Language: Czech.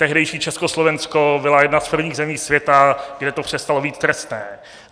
Tehdejší Československo bylo jednou z prvních zemí světa, kde to přestalo být trestné.